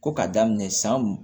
Ko ka daminɛ san